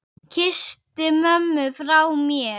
Kysstu mömmu frá mér.